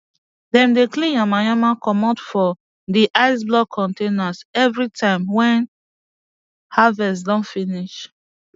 dem dey clean yama yama comot for di ice block containers evri time wen harvest don finish